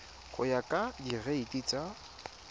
go ya ka direiti tsa